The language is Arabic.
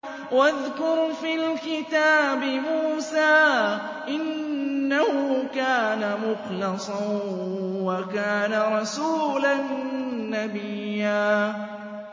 وَاذْكُرْ فِي الْكِتَابِ مُوسَىٰ ۚ إِنَّهُ كَانَ مُخْلَصًا وَكَانَ رَسُولًا نَّبِيًّا